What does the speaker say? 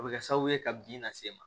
O bɛ kɛ sababu ye ka bin lase i ma